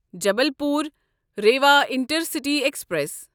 Jabalpur Rewa intercity express